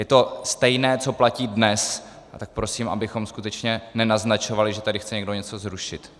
Je to stejné, co platí dnes, a tak prosím, abychom skutečně nenaznačovali, že tady chce někdo něco zrušit.